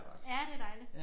Ja det dejligt